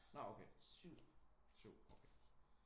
Nå okay. 7 okay